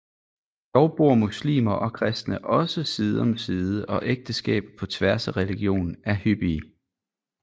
Dog bor muslimer og kristne også side om side og ægteskaber på tværs af religion er hyppige